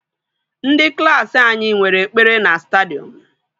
Ndị klaasị anyị nwere ekpere na stadiọm